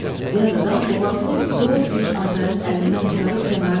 Yad adam boğazını zor güc Azayın əlindən qurtarıb kənara çəkildi.